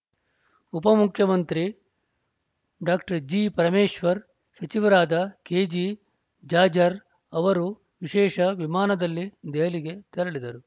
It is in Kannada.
ಉಪ ಮುಖ್ಯಮಂತ್ರಿ ಡಾಕ್ಟರ್ ಜಿ ಪರಮೇಶ್ವರ್‌ ಸಚಿವರಾದ ಕೆಜೆ ಜಾಜರ್ ಅವರು ವಿಶೇಷ ವಿಮಾನದಲ್ಲಿ ದೆಹಲಿಗೆ ತೆರಳಿದರು